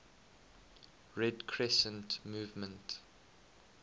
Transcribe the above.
red crescent movement